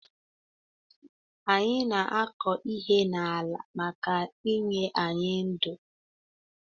Anyi na akọ ihe na ala maka inye anyi ndu